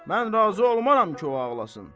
Mən razı olmaram ki, o ağlasın.